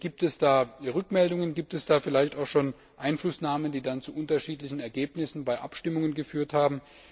Gibt es da Rückmeldungen, gibt es da vielleicht auch schon Einflussnahmen, die dann zu unterschiedlichen Ergebnissen bei Abstimmungen geführt haben?